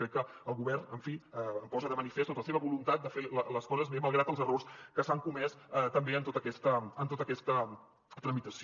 crec que el govern en fi posa de manifest la seva voluntat de fer les coses bé malgrat els errors que s’han comès també en tota aquesta tramitació